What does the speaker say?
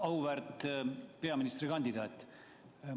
Auväärt peaministrikandidaat!